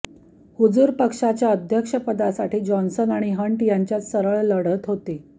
हुजूर पक्षाच्या अध्यक्षपदासाठी जॉन्सन आणि हंट यांच्यात सरळ लढत होती